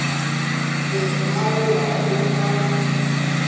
se a lla o a